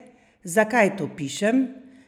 Zakaj to pišem?